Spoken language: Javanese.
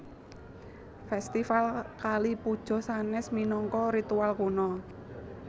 Fèstival Kali Puja sanès minangka ritual kuno